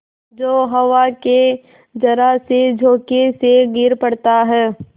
जो हवा के जरासे झोंके से गिर पड़ता है